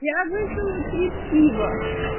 я выпила три пива